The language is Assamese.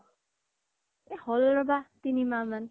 এহ হ্'ল ৰবা তিনি মাহ মান